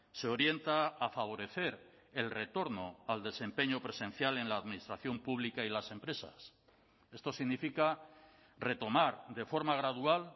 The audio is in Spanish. se orienta a favorecer el retorno al desempeño presencial en la administración pública y las empresas esto significa retomar de forma gradual